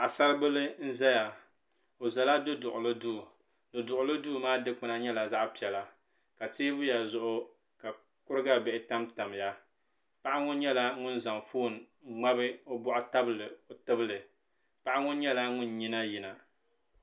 Paɣasara bila n zaya o zala du duɣili duu du duɣili duu maa dikpuna nyɛla zaɣa piɛla ka teebuya zuɣu ka kuriga bihi tam tam ya paɣa ŋɔ nyɛla ŋun zaŋ fooni n ŋmabi o bɔɣu tabili o tibli paɣa ŋɔ nyɛla ŋun nyina yina.